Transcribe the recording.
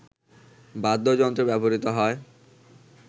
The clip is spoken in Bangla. বাদ্যযন্ত্র ব্যবহৃত হয়